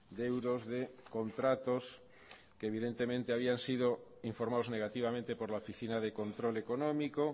de euros de contratos que evidentemente habían sido informados negativamente por la oficina de control económico